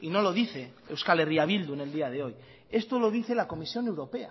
y no lo dice euskal herria bildu en el día de hoy esto lo dice la comisión europea